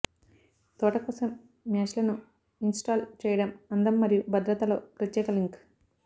తోట కోసం మ్యాచ్లను ఇన్స్టాల్ చేయడం అందం మరియు భద్రతలో ప్రత్యేక లింక్